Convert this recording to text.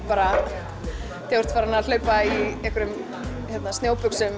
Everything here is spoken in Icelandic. bara þegar þú ert farin að hlaupa í einhverjum